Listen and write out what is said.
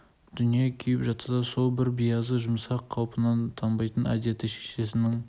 дүние күйіп жатса да сол бір биязы жұмсақ қалпынан танбайтын әдеті шешесінің